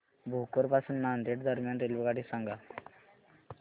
भोकर पासून नांदेड दरम्यान रेल्वेगाडी सांगा